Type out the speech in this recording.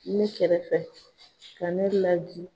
Ne kɛrɛfɛ ka ne laji.